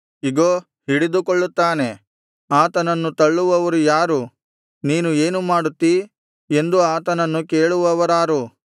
ಇಗೋ ಹಿಡಿದುಕೊಳ್ಳುತ್ತಾನೆ ಆತನನ್ನು ತಳ್ಳುವವರು ಯಾರು ನೀನು ಏನು ಮಾಡುತ್ತಿ ಎಂದು ಆತನನ್ನು ಕೇಳುವವರಾರು